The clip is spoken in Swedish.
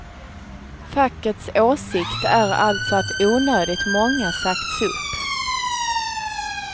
Fackets åsikt är alltså att onödigt många sagts upp.